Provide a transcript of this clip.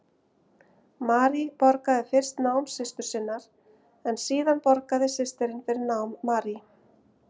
Marie borgaði fyrst nám systur sinnar en síðar borgaði systirin fyrir nám Marie.